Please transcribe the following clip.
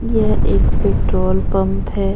यहां एक petrol pump है।